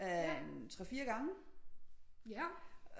Af en 3 4 gange